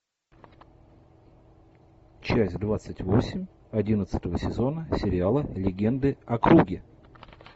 часть двадцать восемь одиннадцатого сезона сериала легенды о круге